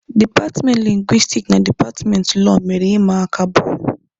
Dipatmenti lingwistiki na dipatmenti Lọọ mere ịma aka bọọlụ.